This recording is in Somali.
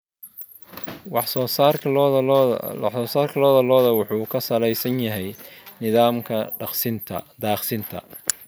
Wax soo saarka lo'da lo'da wuxuu ku salaysan yahay nidaamka daaqsinta.